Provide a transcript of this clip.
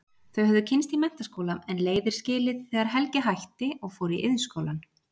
Þau höfðu kynnst í menntaskóla en leiðir skilið þegar Helgi hætti og fór í Iðnskólann.